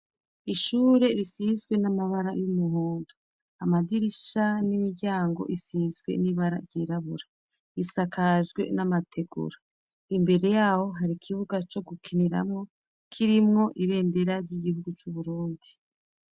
Ishure risizwe n'amabara y'umuhondo. Amadirisha n'imiryango isizwe n'ibara ryirabura, risakajwe n'amategura. Imbere y'aho hari ikibuga co gukiniramwo, kirimwo ibendera ry'igihugu c'Uburundi.